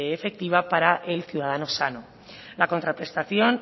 efectiva para el ciudadano sano la contraprestación